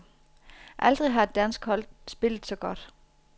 Aldrig har et dansk hold spillet så godt.